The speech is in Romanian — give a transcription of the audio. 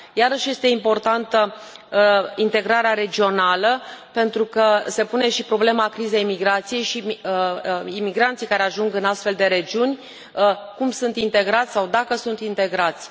Iarăși, este importantă integrarea regională, pentru că se pune și problema crizei migrației și imigranții care ajung în astfel de regiuni, cum sunt integrați sau dacă sunt integrați.